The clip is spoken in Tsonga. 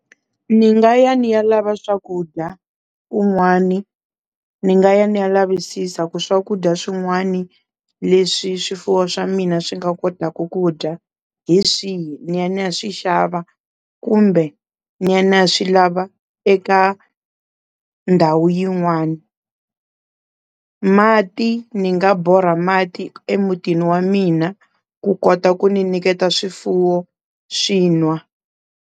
Ni nga ya ni ya lava swakudya kun'wani, ni nga ya ni ya lavisisa ku swakudya swin'wani leswi swifuwo swa mina swi nga kotaku ku dya hi swihi ni ya ni ya swi xava kumbe ni ya na swi lava eka ndhawu yin'wani, mati ni nga borha mati emutini wa mina ku kota ku ni niketa swifuwo swi nwa.